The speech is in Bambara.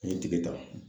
An ye tigɛ ta